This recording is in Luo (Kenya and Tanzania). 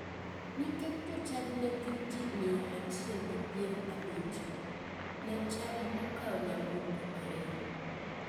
Nikech jochadi ne gin ji miya achiel gi piero abich, ne chadi okawo nyaburko ariyo.